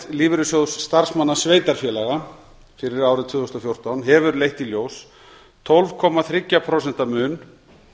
lífeyrissjóðs starfsmanna sveitarfélaga fyrir árið tvö þúsund og fjórtán hefur leitt í ljós tólf komma þrjú prósent mun